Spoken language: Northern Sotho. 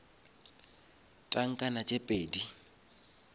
tankana tše pedi